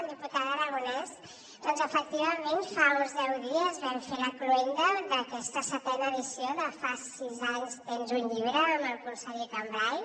diputada aragonès doncs efectivament fa uns deu dies vam fer la cloenda d’aquesta setena edició de fas sis anys tria un llibre amb el conseller cambray